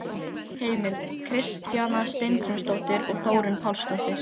Heimild: Kristjana Steingrímsdóttir og Þórunn Pálsdóttir.